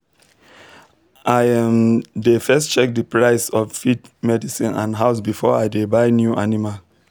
i um dey first check the price of feed medicine and house before i dey buy new animal